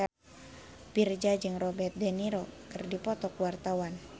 Virzha jeung Robert de Niro keur dipoto ku wartawan